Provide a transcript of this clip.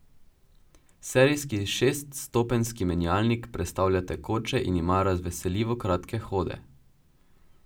Serijski šeststopenjski menjalnik prestavlja tekoče in ima razveseljivo kratke hode.